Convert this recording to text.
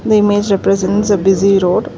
the image represents a bussy road.